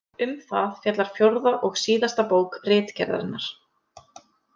Um það fjallar fjórða og síðasta bók Ritgerðarinnar.